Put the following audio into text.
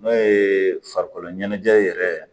N'o ye farikolo ɲɛnajɛ yɛrɛ